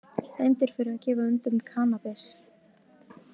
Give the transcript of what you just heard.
Dæmdur fyrir að gefa öndum kannabis